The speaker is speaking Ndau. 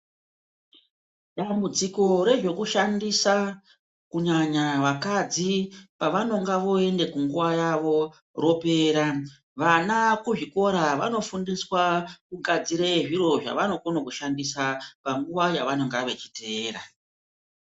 Dambudziko rezvokushandisa, kunyanya vakadzi pavanonga voende kunguva yavo ropera. Vana kuzvikora vanofundiswa kugadzire zviro zvavanokone kushandisa panguva yavanonga vechiteera.